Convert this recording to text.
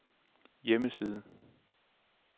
hjemmeside